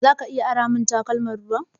Zaka iya ara min takalman ruwa?